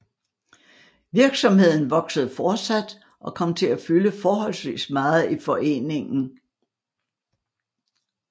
Virksomheden voksede fortsat og kom til at fylde forholdsvis meget i foreningen